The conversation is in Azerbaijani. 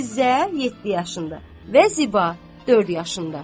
Fizə 7 yaşında və Ziba 4 yaşında.